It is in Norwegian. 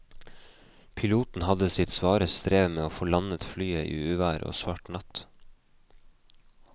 Piloten hadde sitt svare strev med å få landet flyet i uvær og svart natt.